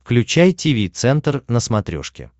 включай тиви центр на смотрешке